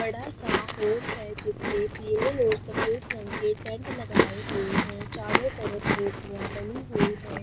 बड़ा-सा होल है जिसने पीले और सफेद रंग के टेंट लगाए हुए हैं चारों तरफ मूर्तियाँ बनी हुई हैं।